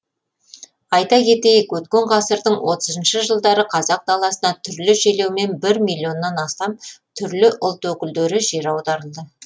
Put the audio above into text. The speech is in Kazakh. айта кетейік өткен ғасырдың отызыншы жылдары қазақ даласына түрлі желеумен бір миллионнан астам түрлі ұлт өкілдері жер аударылды